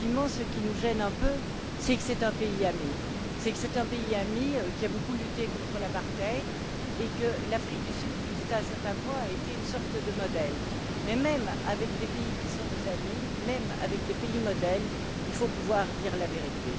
Ce qui nous gêne un peu, c'est que cela s'est passé dans un pays ami, qui a beaucoup lutté contre l'apartheid et que l'Afrique du Sud, jusqu'à un certain point, a été une sorte de modèle. Mais même avec des pays qui sont nos amis, même avec des pays modèles, il faut pouvoir dire la vérité.